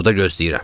Burda gözləyirəm.